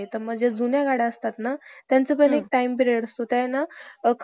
स्वतःच्या मुंबईतील संसार घरी करावी लागणारी मदत आणि भविष्यातील कार्यासाठी थोडी शिल्लक या स्त्रिविध,